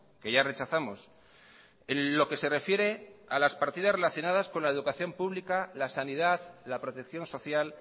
que ya rechazamos en lo que se refiere a las partidas relacionadas con la educación pública la sanidad la protección social